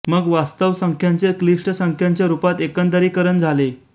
मग वास्तव संख्यांचे क्लिष्ट संख्यांच्या रूपात एकंदरीकरण झाले